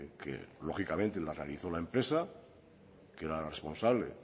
que lógicamente la realizó la empresa que era la responsable